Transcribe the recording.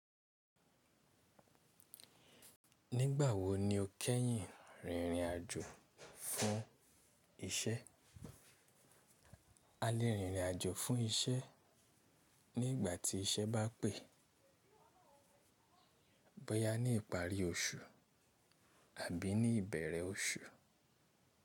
Nígbà wo ni o kẹ́yìn rìnrìn àjò fún isẹ́? A lè rìn rìn àjò fún isẹ́, ní ìgbà tí isẹ́ bá pè. Bóyá ní ìparí oṣù àbí ní ìbẹ̀rẹ̀ oṣù.